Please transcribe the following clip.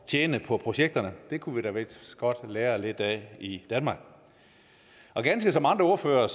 tjene på projekterne det kunne vi da vist godt lære lidt af i danmark ganske som andre ordførere